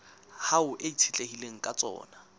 hao e itshetlehileng ka tsona